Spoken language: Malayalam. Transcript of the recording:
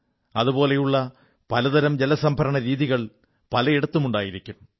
അതുപോലുള്ള പല തരം ജലസംഭരണരീതികൾ പലയിടങ്ങളിലും ഉണ്ടായിരിക്കും